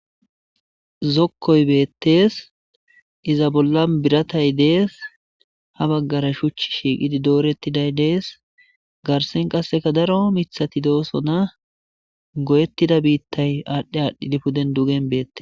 Zokkoy beettees iza bolla biratay dees ha baggara shuch shiiqidi doorettiday dees garsen qasseka daro mithati doosona goyettida biittay aadhdhi aadhdhidi puden dugen beette.